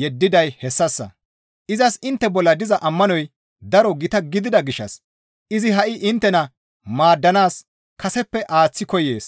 yeddiday hessassa; izas intte bolla diza ammanoy daro gita gidida gishshas izi ha7i inttena maaddanaas kaseppe aaththi koyees.